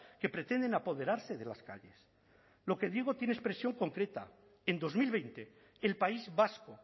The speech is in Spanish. que pretenden apoderarse de las calles lo que digo tiene expresión concreta en dos mil veinte el país vasco